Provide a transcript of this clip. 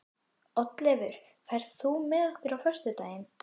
Oddleifur, ferð þú með okkur á föstudaginn?